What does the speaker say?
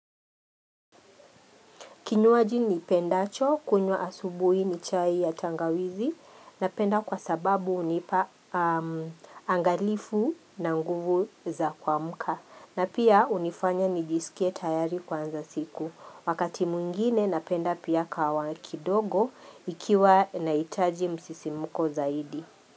Kinywaji niipendacho kunywa asubuhi ni chai ya tangawizi napenda kwa sababu hunipa angalifu na nguvu za kuamka. Na pia hunifanya nijisikie tayari kwanza siku. Wakati mwingine napenda pia kahawa kidogo ikiwa naitaji msisimuko zaidi.